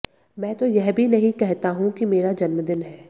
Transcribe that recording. मैं तो यह भी नहीं कहता हूं कि मेरा जन्मदिन है